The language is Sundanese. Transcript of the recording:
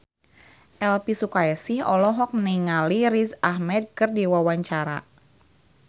Elvi Sukaesih olohok ningali Riz Ahmed keur diwawancara